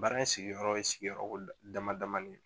Baara in sigiyɔrɔ ye sigiyɔrɔko damadama ye